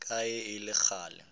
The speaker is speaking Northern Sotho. ka ge e le kgale